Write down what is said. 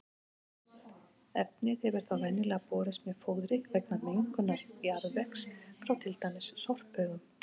Efnið hefur þá venjulega borist með fóðri vegna mengunar jarðvegs frá til dæmis sorphaugum.